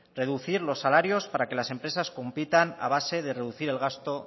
reducir los salarios para que las empresas compitan a base de reducir el gasto